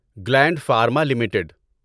gland Pharma limited